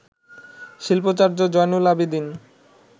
Shilpacharya Zainul Abedin